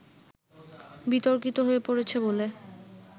বিতর্কিত হয়ে পড়েছে বলে